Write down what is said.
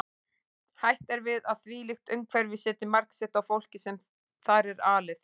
Hætt er við að þvílíkt umhverfi setji mark sitt á fólkið sem þar er alið.